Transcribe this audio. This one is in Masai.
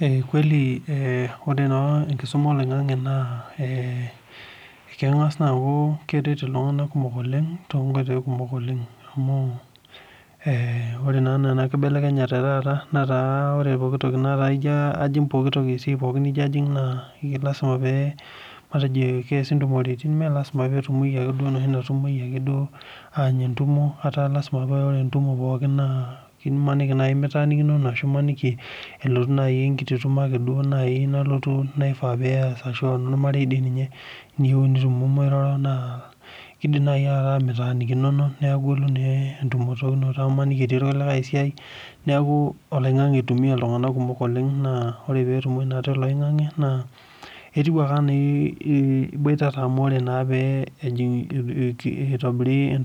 Ee kweli ore enkisuma oloingangi naa kengas aaku keret ltunganak kumok oleng tonkatitin kumok amu ore naa enakibelekenya etaata ata ijo ajing enkae wueji na lasima melasima petumoi enoshi natumoi duo anya entumo ataa orw entumo Melasima pitaanikinono elotu ake naifaa ashu ebaki naa enormarei kidim nai ataa mitaanikinono neaku ilo entumokinoto amu imaniki etii oltungani obo esiai neaku oloingangi itumia ltunganak kumok oleng na orw petumoi toloingangi etiu ake anaa iboitata itobir